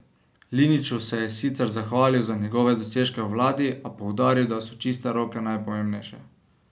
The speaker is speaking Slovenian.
Liniću se je sicer zahvalil za njegove dosežke v vladi, a poudaril, da so čiste roke najpomembnejše.